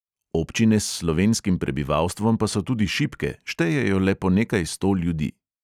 Občine s slovenskim prebivalstvom pa so tudi šibke, štejejo le po nekaj sto ljudi.